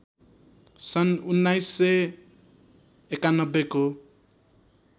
सन् १९९१ को